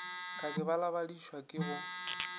ka ke balabadišwa ke go